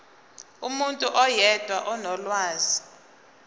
umuntu oyedwa onolwazi